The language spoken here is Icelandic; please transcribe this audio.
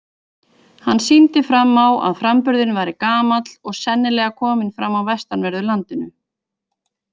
Hann sýndi fram á að framburðurinn væri gamall og sennilega kominn fram á vestanverðu landinu.